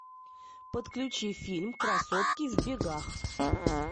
подключи фильм красотки в бегах